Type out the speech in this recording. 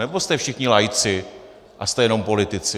Nebo jste všichni laici a jste jenom politici?